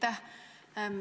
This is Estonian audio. Aitäh!